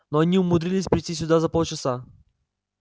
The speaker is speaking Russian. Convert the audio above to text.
но они умудрились прийти сюда за полчаса